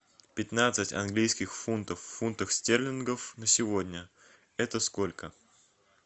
пятнадцать английских фунтов в фунтах стерлингов на сегодня это сколько